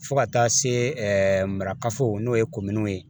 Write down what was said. Fo ka taa se marakafo n'o ye ye